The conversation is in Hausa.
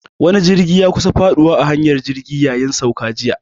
Wani jirgi ya kusa faduwa a hanyar jirgi yayin sauka jiya.